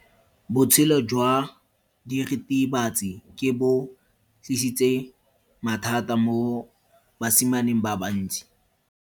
Botshelo jwa diritibatsi ke bo tlisitse mathata mo basimaneng ba bantsi.